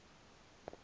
na ke yena